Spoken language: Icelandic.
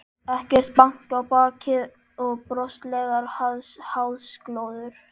Ekkert bank á bakið og broslegar háðsglósur.